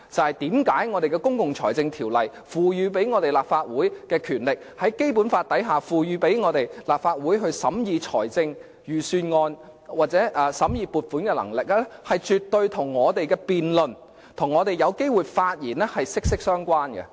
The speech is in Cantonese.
為甚麼《公共財政條例》賦予立法會的權力，根據《基本法》賦予立法會審議財政預算案或撥款的能力，肯定跟我們的辯論和發言權息息相關呢？